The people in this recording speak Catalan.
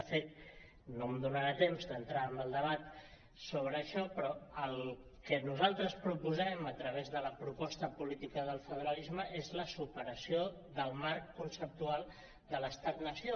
de fet no em donarà temps d’entrar en el debat sobre això però el que nosaltres proposem a través de la proposta política del federalisme és la superació del marc conceptual de l’estat nació